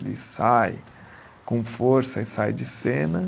Ele sai com força e sai de cena.